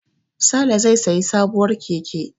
Sale zai sayi sabuwar keke.